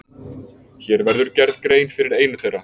Hér verður gerð grein fyrir einu þeirra.